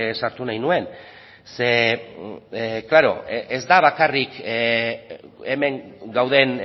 sartu nahi nuen ez da bakarrik hemen gauden